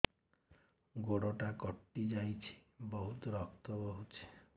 ଗୋଡ଼ଟା କଟି ଯାଇଛି ବହୁତ ରକ୍ତ ବହୁଛି